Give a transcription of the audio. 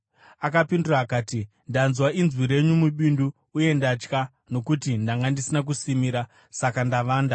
Akapindura akati, “Ndanzwa inzwi renyu mubindu, uye ndatya nokuti ndanga ndisina kusimira; saka ndavanda.”